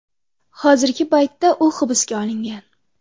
Hozirgi paytda u hibsga olingan.